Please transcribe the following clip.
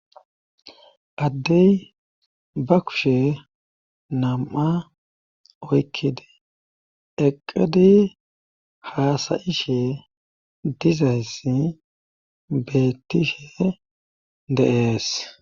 addey ba kushe nam7a oykkidi eqqidi haasayishe dizayssi beettishe deees